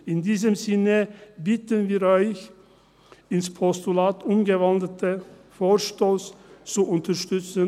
In diesem Sinne bitten wir Sie, den ins Postulat umgewandelten Vorstoss zu unterstützen.